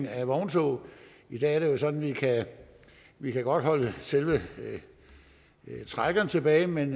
af vogntog i dag er det jo sådan at vi godt kan holde selve trækkeren tilbage men